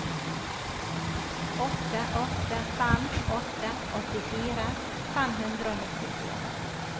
åtte åtte fem åtte åttifire fem hundre og nittifire